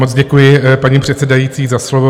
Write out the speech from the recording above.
Moc děkuji, paní předsedající, za slovo.